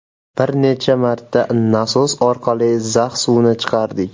Bir necha marta nasos orqali zax suvni chiqardik.